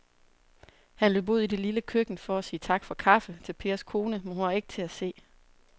Han løb ud i det lille køkken for at sige tak for kaffe til Pers kone, men hun var ikke til at se.